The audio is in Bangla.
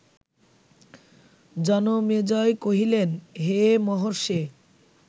জনমেজয় কহিলেন, হে মহর্ষে